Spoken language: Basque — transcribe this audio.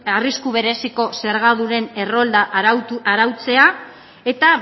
arrisku bereziko zergadunen errolda arautzea eta